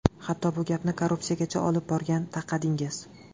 Hatto bu gapni korrupsiyagacha olib borib taqadingiz.